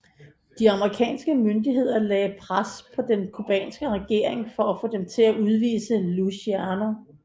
De amerikanske myndigheder lagde pres på den cubanske regering for at få dem til at udvise Luciano